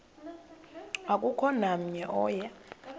akukho namnye oya